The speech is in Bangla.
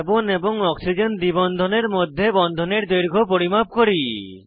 কার্বন এবং অক্সিজেন দ্বি বন্ধনের মধ্যে বন্ধনের দৈর্ঘ্য পরিমাপ করি